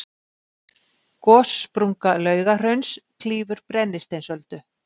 gossprunga laugahrauns klýfur brennisteinsöldu